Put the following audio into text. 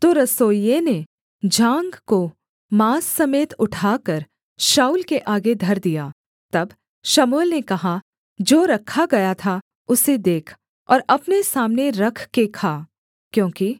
तो रसोइये ने जाँघ को माँस समेत उठाकर शाऊल के आगे धर दिया तब शमूएल ने कहा जो रखा गया था उसे देख और अपने सामने रख के खा क्योंकि